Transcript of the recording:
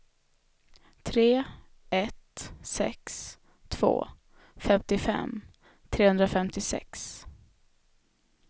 tre ett sex två femtiofem trehundrafemtiosex